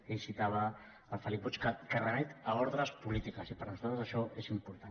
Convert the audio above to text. ell citava el felip puig que remet a ordres polítiques i per nosaltres això és important